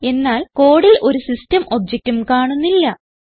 എന്നാൽ കോഡിൽ ഒരു സിസ്റ്റം objectഉം കാണുന്നില്ല